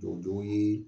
Jɔw ye